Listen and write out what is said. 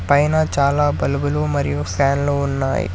పైన చాలా బల్బ్ లు మరియు ఫాన్స్ లు ఉన్నాయి.